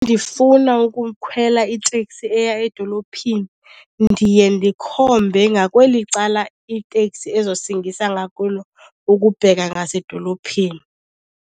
Ndifuna ukukhwela iteksi eya edolophini ndiye ndikhombe ngakweli cala iiteksi ezosingisa ngakulo ukubheka ngasedolophini.